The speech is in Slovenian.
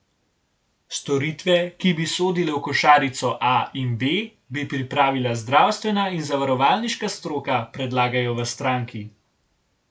Storitve, ki bi sodile v košarico A in B, bi pripravila zdravstvena in zavarovalniška stroka, predlagajo v stranki.